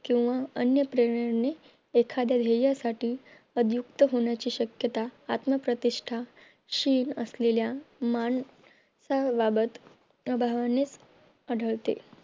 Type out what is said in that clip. किंवा अन्य प्रेरणा एख्याद्या ध्येयासाठी आदियुक्त होण्याची शक्यता आत्मप्रतिष्ठा शीघ असलेल्या माणसाबाबत प्रभामुळेच आढळते